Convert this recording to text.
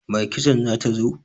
Mai kitson ta zo?